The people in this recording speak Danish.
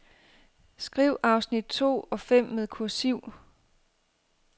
Skriv afsnit to og fem med kursiv.